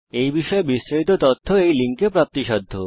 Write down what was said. এই বিষয় বিস্তারিত তথ্য এই লিঙ্ক এ প্রাপ্তিসাধ্য